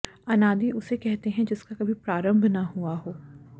अनादि उसे कहते हैं जिसका कभी प्रारंभ न हुआ हो